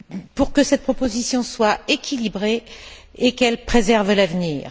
pour que cette proposition soit équilibrée et qu'elle préserve l'avenir.